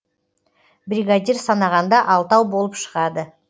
бригадир санағанда алтау болып шығады